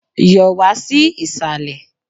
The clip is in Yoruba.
Yọ̀ wá sí Ìsàlẹ̀!